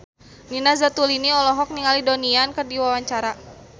Nina Zatulini olohok ningali Donnie Yan keur diwawancara